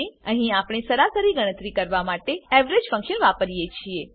અહીં આપણે સરાસરી ગણતરી કરવા માટે એવરેજ ફંક્શન વાપરીએ છીએ